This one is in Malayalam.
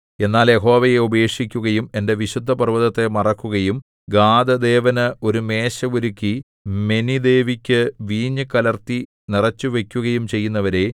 എന്നാൽ യഹോവയെ ഉപേക്ഷിക്കുകയും എന്റെ വിശുദ്ധപർവ്വതത്തെ മറക്കുകയും ഗാദ് ദേവന് ഒരു മേശ ഒരുക്കി മെനിദേവിക്കു വീഞ്ഞു കലർത്തി നിറച്ചുവയ്ക്കുകയും ചെയ്യുന്നവരേ